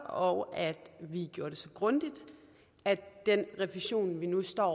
og at vi gjorde det så grundigt at den revision vi nu står